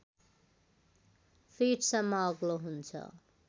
फिटसम्म अग्लो हुन्छ